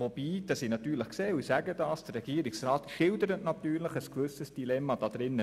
Allerdings sehe ich natürlich auch, dass der Regierungsrat in einem gewissen Dilemma steckt.